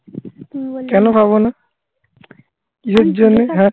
কেন খাবো না? কিসের জন্যে? হ্যাঁ.